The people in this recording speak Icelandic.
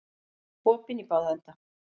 Opinn í báða enda